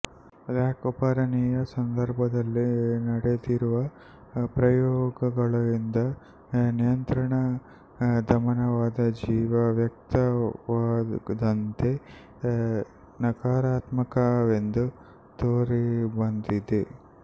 lac ಓಪರನಿನ ಸಂದರ್ಭದಲ್ಲಿ ನಡೆದಿರುವ ಪ್ರಯೋಗಗಳಿಂದ ನಿಯಂತ್ರಣ ದಮನವಾದ ಜೀನು ವ್ಯಕ್ತವಾಗದಂತೆ ನಕಾರಾತ್ಮಕವೆಂದು ತೋರಿಬಂದಿದೆ